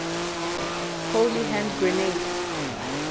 holy hand grenade